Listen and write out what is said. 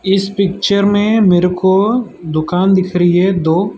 इस पिक्चर में मेरेको दुकान दिख रही है दो।